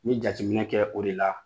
Ɲe jateminɛ kɛ o de la.